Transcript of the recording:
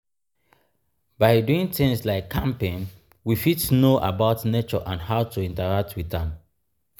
by doing things like camping we fit know about nature and how to interact with am